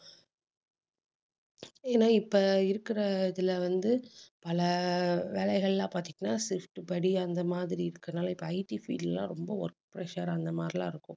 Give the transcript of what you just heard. ஏன்னா இப்ப இருக்கிற இதுல வந்து, பல வேலைகள்லாம் பார்த்தீங்கன்னா shift படி அந்த மாதிரி இருக்கறதுனால இப்ப IT field எல்லாம் ரொம்ப work pressure அந்த மாதிரி எல்லாம் இருக்கும்